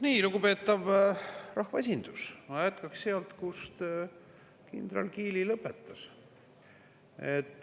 Nii, lugupeetav rahvaesindus, ma jätkan sealt, kus kindral Kiili lõpetas.